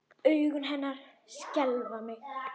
Augu hennar skelfa mig.